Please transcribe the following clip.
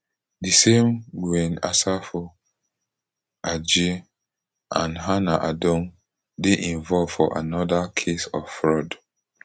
di same dwayne asafo adjei and hannah adom dey involve for anoda case of fraud